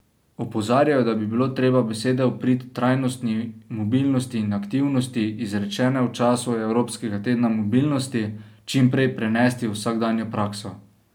Opozarjajo, da bi bilo treba besede v prid trajnostni mobilnosti in aktivnosti, izrečene v času Evropskega tedna mobilnosti, čim prej prenesti v vsakdanjo prakso.